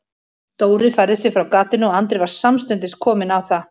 Dóri færði sig frá gatinu og Andri var samstundis kominn á það.